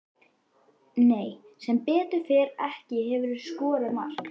Nei sem betur fer ekki Hefurðu skorað mark?